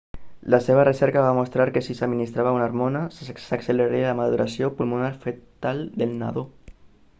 la seva recerca va mostrar que si s'administrava una hormona s'acceleraria la maduració pulmonar fetal del nadó